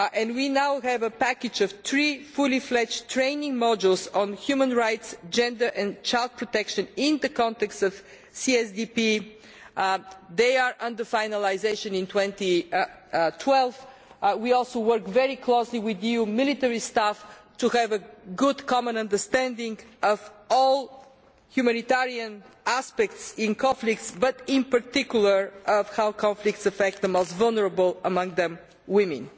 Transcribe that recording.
We now have a package of three fully fledged training modules on human rights, gender and child protection in the context of CSDP, which are being finalised in 2012. We also work very closely with the EU military staff in order to have a good common understanding of all the humanitarian aspects in conflicts, but in particular of how conflicts affect the most vulnerable among them, women.